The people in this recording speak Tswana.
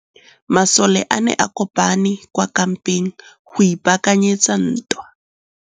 Masole a ne a kopane kwa kampeng go ipaakanyetsa ntwa.